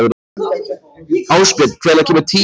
Ásbjörn, hvenær kemur tían?